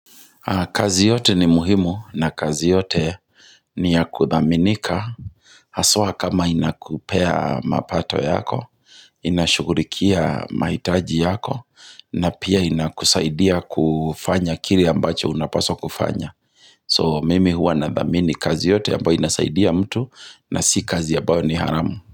Kazi yote ni muhimu na kazi yote ni ya kuthaminika Haswa kama inakupea mapato yako, inashughulikia mahitaji yako na pia inakusaidia kufanya kile ambacho unapaswa kufanya So mimi hua nathamini kazi yote ambayo inasaidia mtu na si kazi ambayo ni haramu.